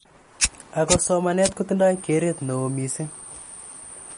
Ako somanet kotindoi keret neo missing.